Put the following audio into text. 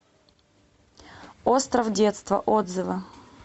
остров детства отзывы